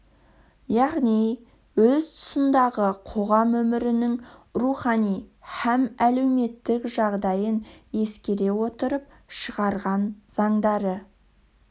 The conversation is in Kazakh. яғни өз тұсындағы қоғам өмірінің рухани һәм әлеуметтік жағдайын ескере отырып шығарған заңдары